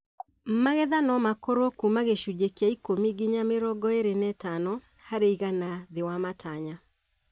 Magetha nomakorwo kuma gĩcunjĩ kĩa ikũmi nginya mĩrongo ĩrĩ na ĩtano harĩ igana thĩ wa matanya